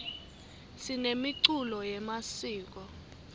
sinemiculo yemasiko